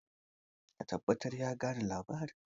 ka tabbatar ya gane labarin!